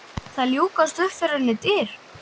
Það ljúkast upp fyrir henni dyr.